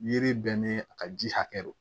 Yiri bɛɛ ni a ka ji hakɛ don